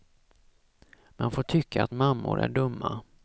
Man får tycka att mammor är dumma.